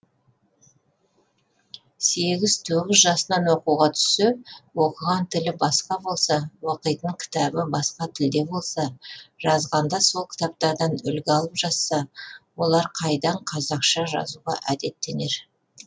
сегіз тоғыз жасынан оқуға түссе оқыған тілі басқа болса оқитын кітабы басқа тілде болса жазғанда сол кітаптардан үлгі алып жазса олар қайдан қазақша жазуға әдеттенер